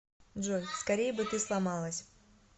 джой скорей бы ты сломалась